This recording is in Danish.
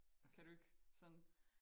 Kan du ikke sådan